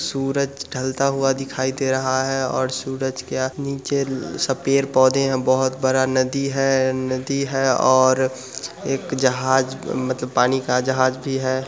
सूरज ढलता हुआ दिखाई दे रहा है और सूरज के नीचे सपेर पौधे है बहुत बड़ा नदी हैं नदी है और एक जहाज़ मतलब पानी का जहाज़ भी हैं।